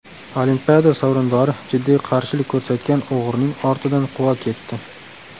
Olimpiada sovrindori jiddiy qarshilik ko‘rsatgan o‘g‘rining ortidan quva ketdi.